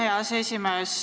Aitäh, hea aseesimees!